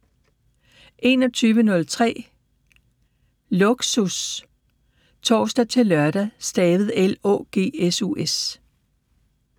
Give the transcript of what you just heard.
21:03: Lågsus (tor-lør)